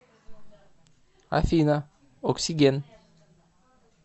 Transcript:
афина оксиген